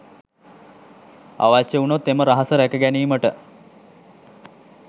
අවශ්‍ය වුණොත් එම රහස රැක ගැනීමට